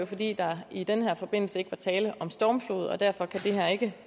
fordi der i den her forbindelse ikke var tale om stormflod derfor kan det her ikke